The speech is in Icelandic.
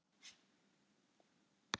Eyjamenn efstir á Íslandsmóti í skák